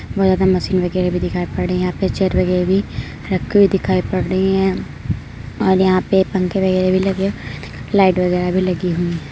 बोहोत ज्यादा मशीन वगैरह भी दिखाई पड़ रही है यहाँ पर चेयर वगैरह भी रखी हुई दिखाई पड़ रही है और यहाँ पे पंखे वगैरह भी लगे लाइट वगैरह भी लगी हुई हैं।